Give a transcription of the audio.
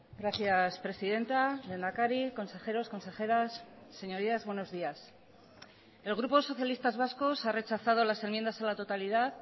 gracias presidenta lehendakari consejeros consejeras señorías buenos días el grupo socialistas vascos ha rechazado las enmiendas a la totalidad